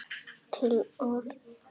Til orustu!